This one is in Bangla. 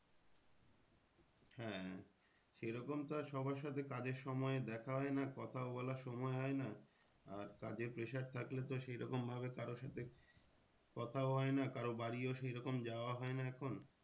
হ্যাঁ সে রকম তো আর সবার সাথে কাজের সময় দেখা হয় না কথাও বলার সময় হয় না। আর কাজের pressure থাকলে তো সেই রকম ভাবে কারো সাথে কথাও হয় না কারোর বাড়িও সেই রকম যাওয়া হয় না এখন